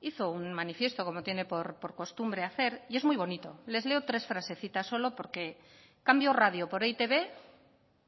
hizo un manifiesto como tiene por costumbre hacer y es muy bonito les leo tres frasecitas solo porque cambio radio por e i te be